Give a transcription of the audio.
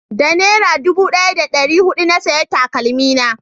da nera dubu daya da dari hudu na saya takalmi na